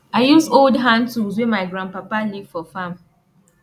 i use old hand tools wey my grandpapa leave for farm